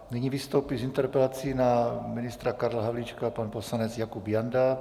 Nyní vystoupí s interpelací na ministra Karla Havlíčka pan poslanec Jakub Janda.